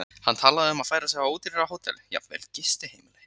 Hann talaði um að færa sig á ódýrara hótel, jafnvel gistiheimili.